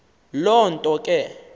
loo nto ke